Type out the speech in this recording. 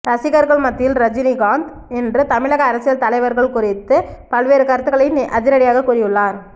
ரசிகர்கள் மத்தியில் ரஜினிகாந்த் இன்று தமிழக அரசியல் தலைவர்கள் குறித்து பல்வேறு கருத்துக்களை அதிரடியாக கூறியுள்ளார்